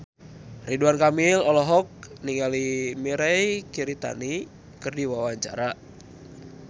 Ridwan Kamil olohok ningali Mirei Kiritani keur diwawancara